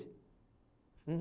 Uhum.